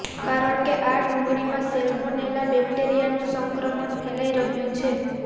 કારણ કે આ ડુંગળીમાં સેલ્મોનેલા બેક્ટેરિયાનું સંક્રમણ ફેલાઈ રહ્યું છે